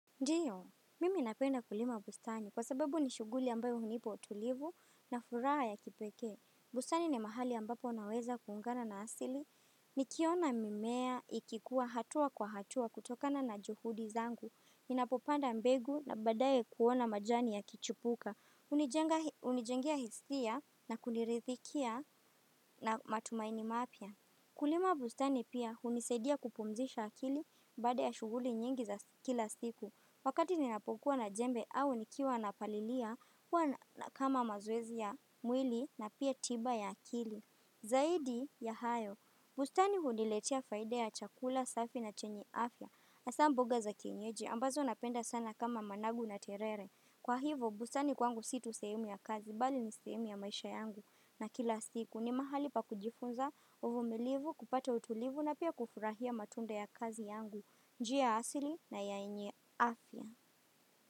Ndiyo, mimi napenda kulima bustani kwa sababu ni shuguli ambayo hunipa tulivu na furaha yakipekee. Bustani ni mahali ambapo naweza kuungana na asili. Nikiona mimea ikikua hatua kwa hatua kutokana na juhudi zangu. Ninapopanda mbegu na badaye kuona majani yakichipuka. Hunijengia hisia na kuniridhikia na matumaini mapya. Kulima bustani pia hunisadia kupumzisha akili baada ya shughuli nyingi za kila siku. Wakati ninapokuwa na jembe au nikiwa napalilia huwa kama mazoezi ya mwili na pia tiba ya akili. Zaidi ya hayo, bustani huniletea faida ya chakula, safi na chenye afya hasa mboga za kinyeji ambazo napenda sana kama managu na terere. Kwa hivo bustani kwangu situ sehemu ya kazi bali ni sehemu ya maisha yangu na kila siku ni mahali pa kujifunza uvumilivu, kupata utulivu na pia kufurahia matunda ya kazi yangu. Njia asili na yenye afya.